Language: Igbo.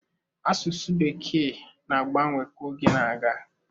Asụsụ Bekee na-agbanwe ka oge na-aga.